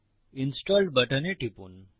installed বাটনে টিপুন